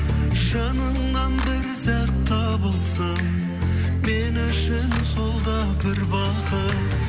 жаныңнан бір сәт табылсам мен үшін сол да бір бақыт